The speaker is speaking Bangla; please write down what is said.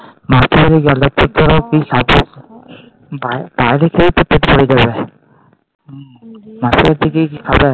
বাইরে বাইরে খেয়ে তো পেট ভরে যাবে। মাসির বাড়িতে গিয়ে কি খাবে?